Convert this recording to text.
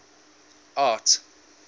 art